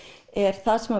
er það sem